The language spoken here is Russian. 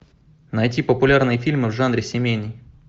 найти популярные фильмы в жанре семейный